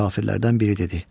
Kafirlərdən biri dedi: